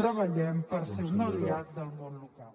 treballem per ser un aliat del món local